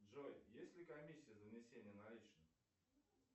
джой есть ли комиссия за внесение наличных